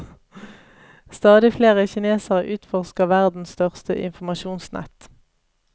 Stadig flere kinesere utforsker verdens største informasjonsnett.